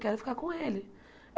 Quero ficar com ele.